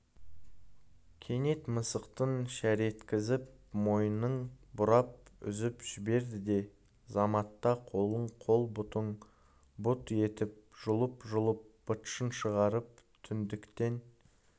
кенет мысықтың шареткізіп мойнын бұрап үзіп жіберді де заматта қолын қол бұтын бұт етіп жұлып-жұлып быт-шытын шығарып түндіктен